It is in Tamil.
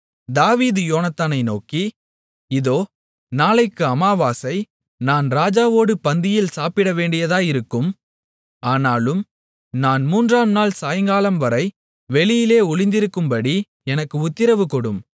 தாவீது யோனத்தானை நோக்கி இதோ நாளைக்கு அமாவாசை நான் ராஜாவோடு பந்தியில் சாப்பிடவேண்டியதாயிருக்கும் ஆனாலும் நான் மூன்றாம் நாள் சாயங்காலம் வரை வெளியிலே ஒளிந்திருக்கும்படி எனக்கு உத்திரவு கொடும்